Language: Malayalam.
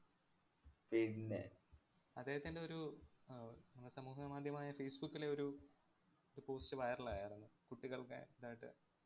പിന്നെ അദ്ദേഹത്തിന്‍റെ ഒരു അഹ് ഒ~ അഹ് സമൂഹമാധ്യമമായ facebook ലെ ഒരു ഒരു post viral ആയാരുന്നു. കുട്ടികളുടെ ഇതായിട്ട്